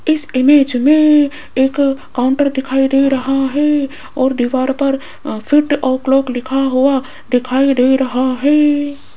इस इमेज में एक काउंटर दिखाई दे रहा है और दीवार पर फिट ओ क्लॉक लिखा हुआ दिखाई दे रहा है।